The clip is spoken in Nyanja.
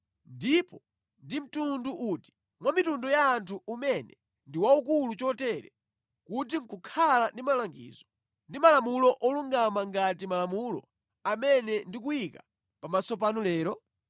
Ndipo ndi mtundu uti mwa mitundu ya anthu umene ndi waukulu chotere kuti nʼkukhala ndi malangizo ndi malamulo olungama ngati malamulo amene ndikuyika pamaso panu lero?